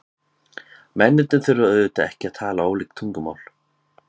Mennirnir þurfa auðvitað ekki að tala ólík tungumál.